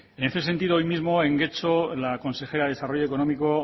en este sentido hoy mismo en getxo la consejera de desarrollo económico